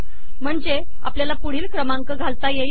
म्हणजे आपल्याला पुढील क्रमांक घालता येतील